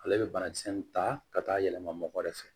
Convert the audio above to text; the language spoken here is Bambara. Ale bɛ banakisɛ nin ta ka taa yɛlɛma mɔgɔ de fɛ